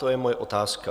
To je moje otázka.